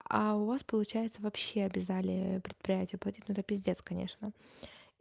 у вас получается вообще обязали предприятие платить ну это пиздец конечно